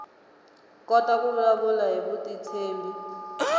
kota ku vulavula hi vutitshembi